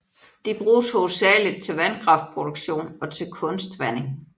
De bruges hovedsageligt til vandkraftproduktion og til kunstvanding